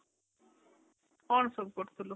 କଣ ସବୁ ପଢୁଥିଲୁ ?